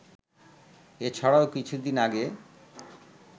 এছাড়াও কিছুদিন আগে